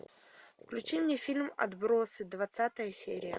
включи мне фильм отбросы двадцатая серия